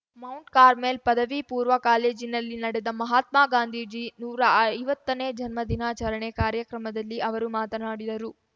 Mount Carmel ಪದವಿಪೂರ್ವ ಕಾಲೇಜಿನಲ್ಲಿ ನಡೆದ ಮಹಾತ್ಮ ಗಾಂಧೀಜಿ ನೂರಾ ಐವತ್ತನೇ ಜನ್ಮ ದಿನಾಚರಣೆ ಕಾರ್ಯಕ್ರಮದಲ್ಲಿ ಅವರು ಮಾತನಾಡಿದರು